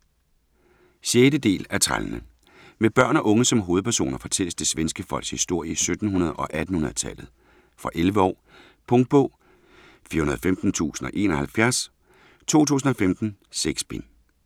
Wernström, Sven: Trællenes våben 6. del af Trællene. Med børn og unge som hovedpersoner fortælles det svenske folks historie i 1700- og 1800-tallet. Fra 11 år. Punktbog 415071 2015. 6 bind.